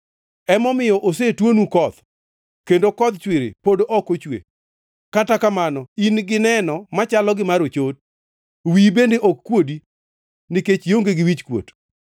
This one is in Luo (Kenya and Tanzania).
Emomiyo osetuonu koth, kendo kodh chwiri pod ok ochwe. Kata kamano in gi neno machalo gi mar ochot; wiyi bende ok kuodi nikech ionge gi wichkuot.